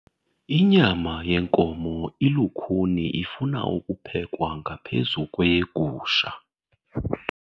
Inyama yenkomo ilukhuni ifuna ukuphekwa ngaphezu kweyegusha.